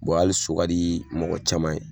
Bɔn ali so ka di mɔgɔ caman ye